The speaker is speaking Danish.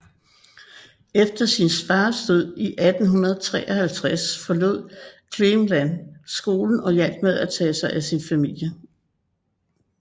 Efter sin fars død i 1853 forlod Cleveland skolen og hjalp med at tage sig af sin familie